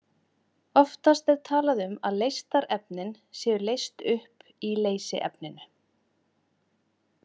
Oftast er talað um að leystarefnin séu leyst upp í leysiefninu.